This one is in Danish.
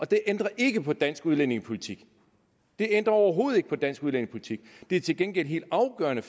det ændrer ikke på dansk udlændingepolitik det ændrer overhovedet ikke på dansk udlændingepolitik det er til gengæld en helt afgørende